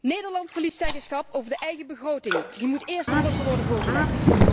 Nederland verliest zeggenschap over de eigen begroting, die moet eerst aan Brussel worden voorgelegd.